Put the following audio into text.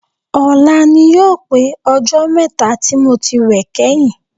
Ọ̀la ni yóò pé ọjọ́ mẹ́ta tí mo ti wẹ̀ kẹ́yìn